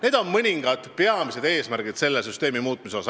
Need on mõningad peamised eesmärgid selle süsteemi muutmisel.